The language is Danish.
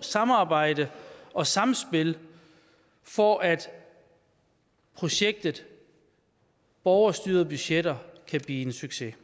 samarbejde og samspil for at projektet borgerstyrede budgetter kan blive en succes